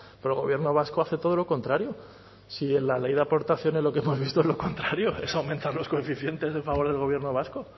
pero el gobierno vasco hace todo lo contrario si en la ley de aportaciones lo que hemos visto es lo contrario es aumentar los coeficientes en favor del gobierno vasco